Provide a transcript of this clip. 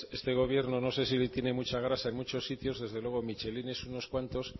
este gobierno no sé si tiene mucha grasa en muchos sitios desde luego michelines unos cuantos